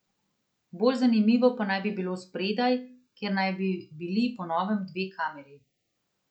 Bolj zanimivo pa naj bi bilo spredaj, kjer naj bi bili po novem dve kameri.